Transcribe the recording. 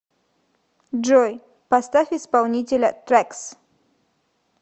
джой поставь исполнителя трэкс